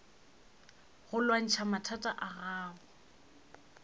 go lwantšha mathata a gago